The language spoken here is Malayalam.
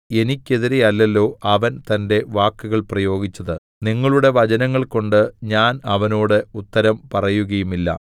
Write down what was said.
എനിക്കെതിരെയല്ലല്ലോ അവൻ തന്റെ വാക്കുകൾ പ്രയോഗിച്ചത് നിങ്ങളുടെ വചനങ്ങൾകൊണ്ട് ഞാൻ അവനോട് ഉത്തരം പറയുകയുമില്ല